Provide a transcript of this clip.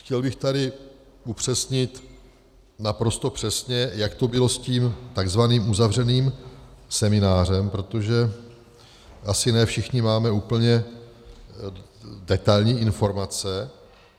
Chtěl bych tady upřesnit naprosto přesně, jak to bylo s tím tzv. uzavřeným seminářem, protože asi ne všichni máme úplně detailní informace.